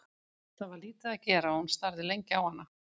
Það var lítið að gera og hún starði lengi á hana.